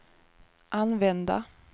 använda